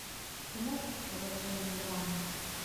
ты можешь показать военную драму